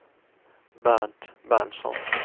Bernt Berntsson